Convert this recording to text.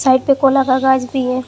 Side पे कोला का गाछ भी है।